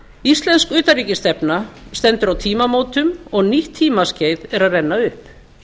íslensk utanríkisstefna stendur á tímamótum og nýtt tímaskeið er að renna upp